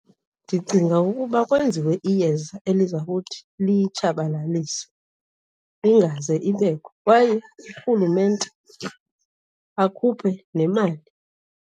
Ndicinga ukuba kwenziwe iyeza eliza kuthi liyitshabalalise ingaze ibekho kwaye urhulumente akhuphe nemali.